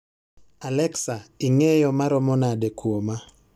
Allexa, ing'eyo maromo nade kuoma